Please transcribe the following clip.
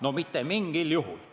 No mitte mingil juhul!